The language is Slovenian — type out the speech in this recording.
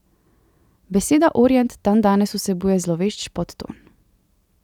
Beseda orient dandanes vsebuje zlovešč podton.